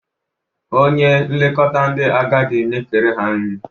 Onye nlekọta ndị agadị na-ekere ha nri.